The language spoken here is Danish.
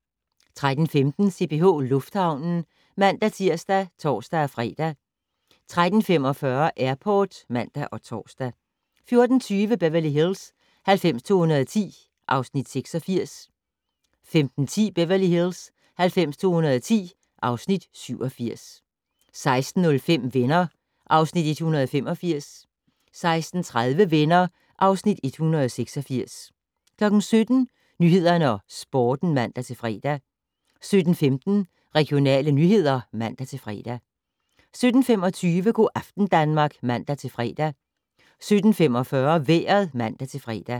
13:15: CPH Lufthavnen (man-tir og tor-fre) 13:45: Airport (man og tor) 14:20: Beverly Hills 90210 (Afs. 86) 15:10: Beverly Hills 90210 (Afs. 87) 16:05: Venner (Afs. 185) 16:30: Venner (Afs. 186) 17:00: Nyhederne og Sporten (man-fre) 17:15: Regionale nyheder (man-fre) 17:25: Go' aften Danmark (man-fre) 17:45: Vejret (man-fre)